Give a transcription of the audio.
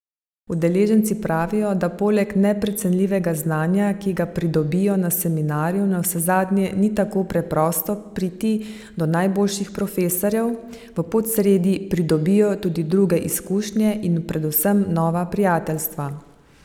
Udeleženci pravijo, da poleg neprecenljivega znanja, ki ga pridobijo na seminarju, navsezadnje ni tako preprosto priti do najboljših profesorjev, v Podsredi pridobijo tudi druge izkušnje in predvsem nova prijateljstva.